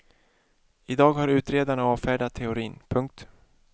I dag har utredarna avfärdat teorin. punkt